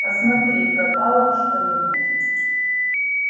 посмотри пропало что-нибудь